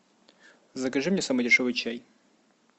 закажи мне самый дешевый чай